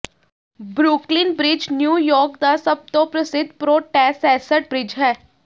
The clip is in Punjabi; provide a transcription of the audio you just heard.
ਬਰੁਕਲਿਨ ਬ੍ਰਿਜ ਨਿਊਯਾਰਕ ਦਾ ਸਭ ਤੋਂ ਪ੍ਰਸਿੱਧ ਪ੍ਰੋਟੈਸੈਸਟ ਬ੍ਰਿਜ ਹੈ